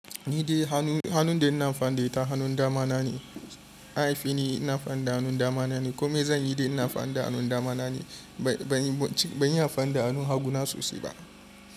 Ni dai hannun da ina fan da ita hannun dama na ne, aifa ni ina amfani da hannun dama na ne, kome zan yi dai ina amfani da hannun dama na ne. Ban iya amfani da hannun haguna sosai ba.